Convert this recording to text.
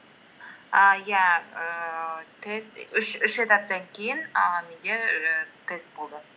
і иә ііі тест үш этаптан кейін ііі менде ііі тест болды